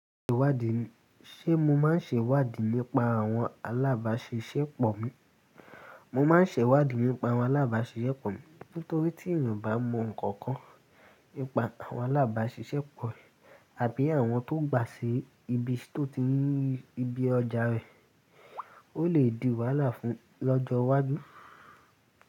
Ṣé mo máa ń ṣèwádìí nípa àwọn alábàáṣiṣẹ́pọ̀ mi? Mo máa ń ṣẹ̀wádìí nípa àwọn alábàáṣiṣẹ́pọ̀ mi, nítorí tí ènìyàn bá mọ nǹkan kan nípa àwọn alábàáṣiṣẹ́pọ̀, àbí àwọn tó gbà sí ibi tó ti ní ibi ọjà rẹ̀, ó lè di wàhálà fún lọ́jọ́ iwájú.